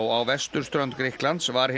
á vesturströnd Grikklands var hinn